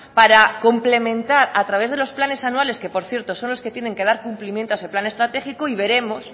para complementar a través de los planes anuales que por cierto son los que tienen que dar cumplimiento a ese plan estratégico y veremos